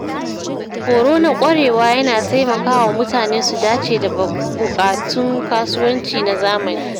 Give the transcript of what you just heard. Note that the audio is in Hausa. Horo na ƙwarewa yana taimakawa mutane su dace da buƙatun kasuwanci na zamani.